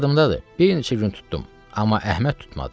Yadımdadır, bir neçə gün tutdum, amma Əhməd tutmadı.